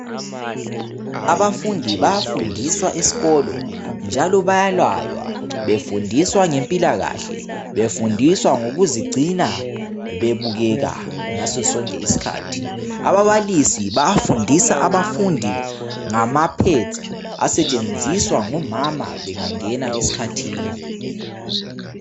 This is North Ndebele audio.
Abafundi bayafundiswa esikolo njalo bayalaywa befundiswa ngempilakahle befundiswa ngokuzigcina bebukeka ngaso sonke isikhathi ababalisi bayafundisa abafundi ngamaphedzi asetshenziswa ngomama bengangena esikhathini